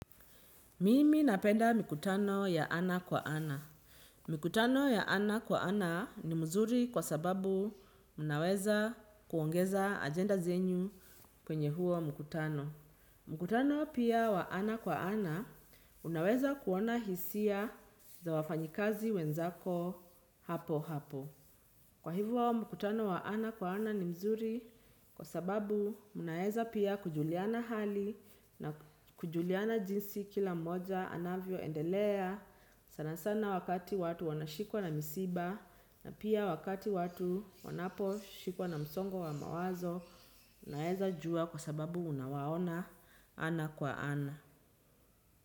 Mimi napenda mikutano ya ana kwa ana. Mikutano ya ana kwa ana ni mzuri kwa sababu unaweza kuongeza agenda zenyu kwenye huo mkutano. Mkutano pia wa ana kwa ana unaweza kuona hisia za wafanyikazi wenzako hapo hapo. Kwa hivo mkutano wa ana kwa ana ni mzuri kwa sababu munaeza pia kujuliana hali na kujuliana jinsi kila mmoja anavyoendelea sana sana wakati watu wanashikwa na misiba na pia wakati watu wanaposhikwa na msongo wa mawazo unaeza jua kwa sababu unawaona ana kwa ana.